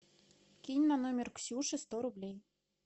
кинь на номер ксюши сто рублей